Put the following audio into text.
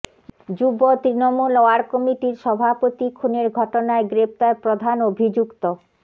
যুব তৃণমূল ওয়ার্ড কমিটির সভাপতি খুনের ঘটনায় গ্রেফতার প্রধান অভিযুক্ত